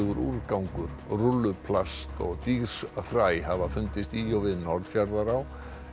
úrgangur rúlluplast og hafa fundist í og við Norðfjarðará